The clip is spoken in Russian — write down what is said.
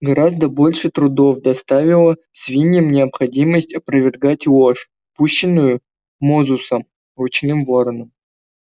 гораздо больше трудов доставила свиньям необходимость опровергать ложь пущенную мозусом ручным вороном